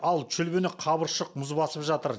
ал шүлбіні қабыршық мұз басып жатыр